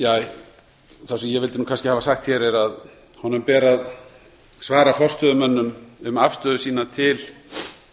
það sem ég vildi kannski hafa sagt hér er að honum ber að svara forstöðumönnum um afstöðu sína til